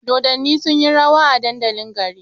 Dodanni sunyi rawa a dandalin gari